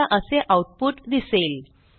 आपल्याला असे आऊटपुट दिसेल